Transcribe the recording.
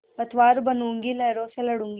पतवार बनूँगी लहरों से लडूँगी